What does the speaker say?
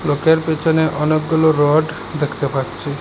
লোকের পেছনে অনেকগুলো রড দেখতে পাচ্ছি।